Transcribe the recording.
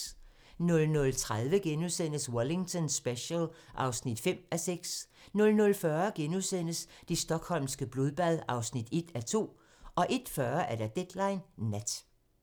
00:30: Wellington Special (5:6)* 00:40: Det stockholmske blodbad (1:2)* 01:40: Deadline Nat